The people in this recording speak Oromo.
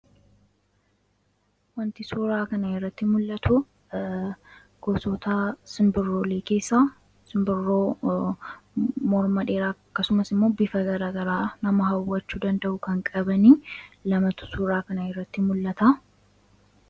Kan suuraa kanarratti mul'atu gosoota simbirroo keessaa simbirroo morma dheeraa fakkaatu fi halluu nama hawwachuu danda'an qabantu namatti mul'ata.